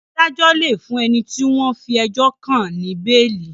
Adájo lẹ fún ẹní tí wón fí ejó kán ní beeli.